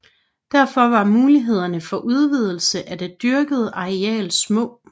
Derfor var mulighederne for udvidelse af det dyrkede areal små